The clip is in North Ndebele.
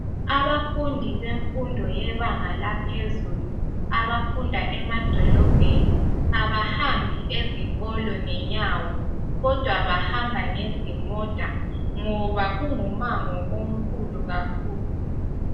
Abafundi bemfundo yebanga laphezulu abafunda emadolobheni abahambi ezikolo ngenyawo kodwa bahamba ngezimota ngoba kungumango omkhulu kakhulu